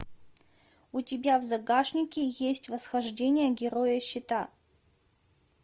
у тебя в загашнике есть восхождение героя щита